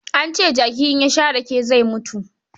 An ce jaki in ya sha rake zai mutu.